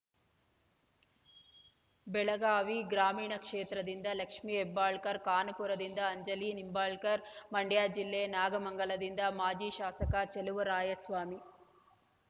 ಬೆಳಗಾವಿ ಗ್ರಾಮೀಣ ಕ್ಷೇತ್ರದಿಂದ ಲಕ್ಷ್ಮೇಹೆಬ್ಬಾಳ್ಕರ್‌ ಖಾನಾಪುರದಿಂದ ಅಂಜಲಿ ನಿಂಬಾಳ್ಕರ್‌ ಮಂಡ್ಯ ಜಿಲ್ಲೆ ನಾಗಮಂಗಲದಿಂದ ಮಾಜಿ ಶಾಸಕ ಚೆಲುವರಾಯಸ್ವಾಮಿ